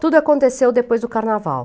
Tudo aconteceu depois do carnaval.